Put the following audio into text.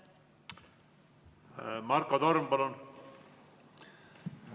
Marko Torm, palun!